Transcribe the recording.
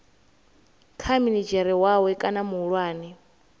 kha minidzhere wawe kana muhulwane